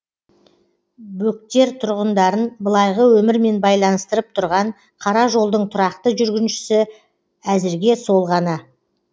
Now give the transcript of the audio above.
бөктер тұрғындарын былайғы өмірмен байланыстырып тұрған қара жолдың тұрақты жүргіншісі әзірге сол ғана